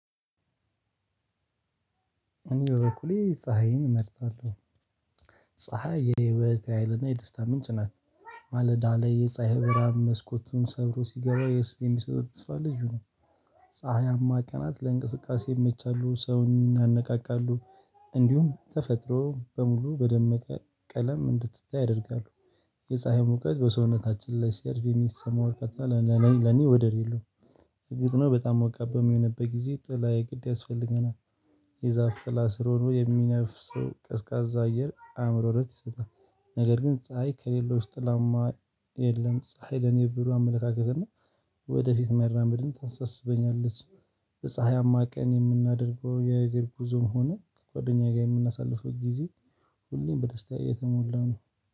እኔ በበኩሌ ፀሀይን እመርጣለሁ። ፀሀይ የኔ ህይወት ኃይልና የደስታ ምንጭ ናት። ማለዳ ላይ የፀሀይ ብርሃን መስኮቱን ሰብሮ ሲገባ የሚሰጠው ተስፋ ልዩ ነው። ፀሀያማ ቀናት ለእንቅስቃሴ ይመቻሉ፣ ሰውን ያነቃቃሉ፣ እንዲሁም ተፈጥሮ በሙሉ በደመቀ ቀለም እንድትታይ ያደርጋሉ። የፀሀይ ሙቀት በሰውነታችን ላይ ሲያርፍ የሚሰማው ቃጠሎ ለኔ ወደር የለውም። እርግጥ ነው በጣም በሚሆንበት ጊዜ ጥላ የግድ ያስፈልገናል። የዛፍ ጥላ ስር ሆኖ የሚነፍሰው ቀዝቃዛ አየር ለአእምሮ ረፍት ይሰጣል፣ ነገር ግን ፀሀይ ከሌለ ውስጥ ጥላማ የለም። ፀሀይ ለኔ ብሩ አመለካከት እና ወደፊት መራመድን ታሳስበኛለች። በፀሀይማ ቀን የምናደርገው የእግር ጉዞም ሆነ ከጓደኛዬ ጋር የምናሳልፈው ጊዜ""" ሁሌም በደስታ የተሞላ ነው።